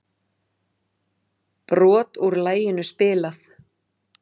Brot úr laginu spilað